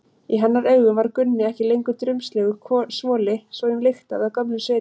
Í hennar augum var Gunni ekki lengur drumbslegur svoli sem lyktaði af gömlum svita.